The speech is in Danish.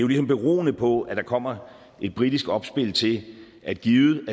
ligesom beroende på at der kommer et britisk oplæg til at givet